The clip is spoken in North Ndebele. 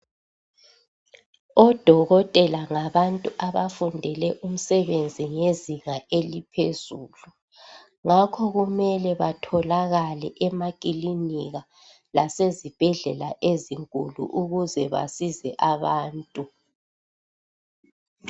Odokotela ngabantu abafundele umsebenzi ngezinga eliphezulu, Ngakho kumele betholakale emakilinika lasezibhedlela ezinkulu ukuze basize abantu.